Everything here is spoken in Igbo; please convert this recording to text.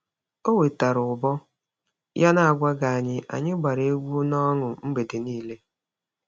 O wetara ụbọ ya n'agwaghị anyị, anyị gbara egwu n'ọṅụ mgbede niile.